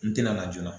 N tɛna laja